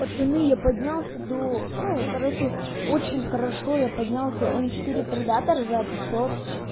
пацаны я поднялся до ну короче очень хорошо я поднялся четыре предатор за пятьсот